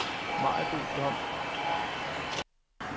Maribo Dom